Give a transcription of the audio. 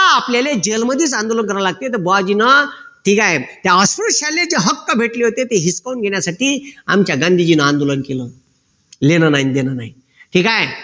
का आता आपल्याला जैलमध्येच आंदोलन करावे लागते तर बुआजीनं ठीक आहे त्या अस्पृश्याले जे हक्क भेटले होते ते हिसकावून घेण्यासाठी आमच्या गांधीजीने आंदोलन केलं घेणं नाही न देणं नाही ठीक आहे